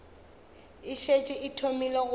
e šetše e thomile go